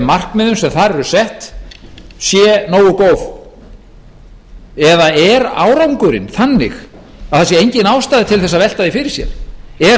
markmiðum sem þar eru sett sé nógu góð eða er árangurinn þannig að það sé engin ástæða til þess að velta því fyrir sér er